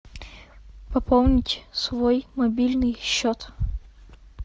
пополнить свой мобильный счет